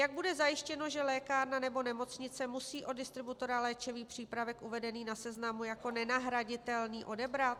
Jak bude zajištěno, že lékárna nebo nemocnice musí od distributora léčivý přípraven uvedený na seznamu jako nenahraditelný odebrat?